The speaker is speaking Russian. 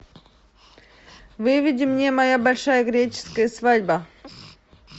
выведи мне моя большая греческая свадьба